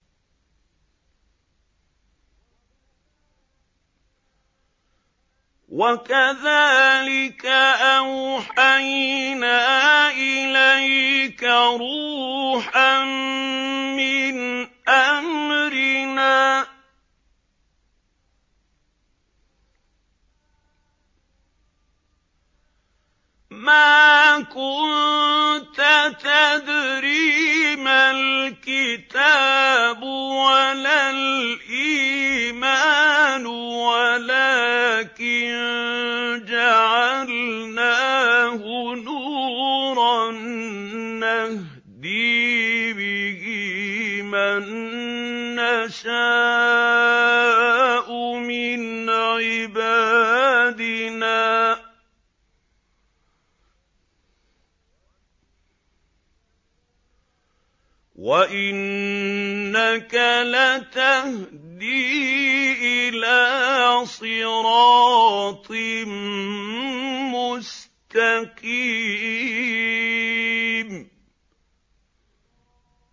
وَكَذَٰلِكَ أَوْحَيْنَا إِلَيْكَ رُوحًا مِّنْ أَمْرِنَا ۚ مَا كُنتَ تَدْرِي مَا الْكِتَابُ وَلَا الْإِيمَانُ وَلَٰكِن جَعَلْنَاهُ نُورًا نَّهْدِي بِهِ مَن نَّشَاءُ مِنْ عِبَادِنَا ۚ وَإِنَّكَ لَتَهْدِي إِلَىٰ صِرَاطٍ مُّسْتَقِيمٍ